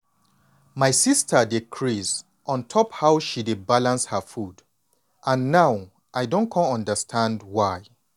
my sister dey craze on top how she dey balance her food and now i don come understand why.